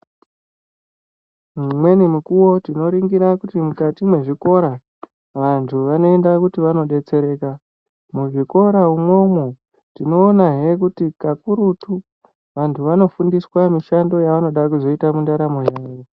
Mimweni mikuwo tinoringira kuti mukati mwezvikora vantu vanoenda kuti vandodetsereka .Muzvikirahe imwomwo tinoonahe kuti kakurutu vantu vanofundiswe mishando yevanode kuzoita mundaramo yavo.